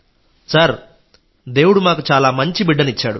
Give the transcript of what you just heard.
sir దేవుడు మాకు చాలా మంచి బిడ్డను ఇచ్చాడు